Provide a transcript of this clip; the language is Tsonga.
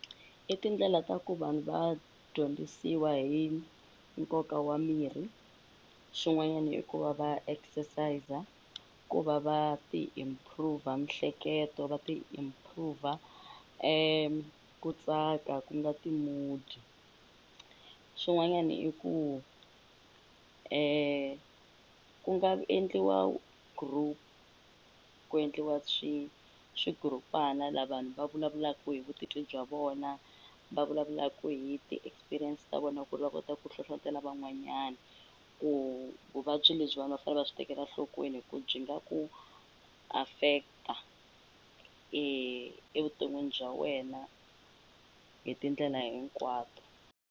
I tindlela ta ku vanhu va dyondzisiwa hi nkoka wa mirhi xin'wanyani i ku va va exercis-a ku va va ti improv-a mihleketo va ti improv-a ku tsaka ku nga ti-mood swin'wanyani i ku ku nga endliwa group ku endliwa swigurupana la vanhu va vulavulaku hi vutitwi bya vona va vulavulaku hi ti-experience ta vona ku ri va kota ku hlohlotela van'wanyana ku vuvabyi lebyi vanhu va nga fane va byi tekela nhlokweni hi ku byi nga ku affect-a evuton'wini bya wena hi tindlela hinkwato.